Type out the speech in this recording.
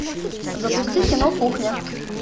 запусти кино кухня